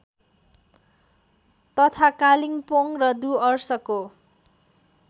तथा कालिम्पोङ र डुअर्सको